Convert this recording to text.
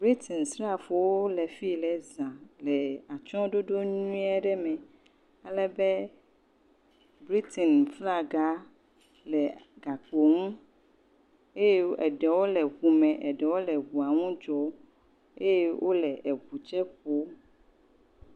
Britins srafowo le fie za le atsyɔɖoɖo nyui aɖe me alebe Britin flaga le gakpo ŋu eye eɖewo le ŋu me, eɖewo le ŋua ŋu dzɔm eye wole eŋu tsɛ ƒom.